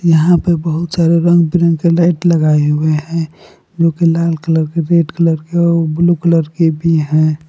यहां पे बहुत सारे रंग बिरंगे लाइट लगाए हुए हैं जो की लाल कलर के रेड कलर के ब्लू कलर की भी हैं।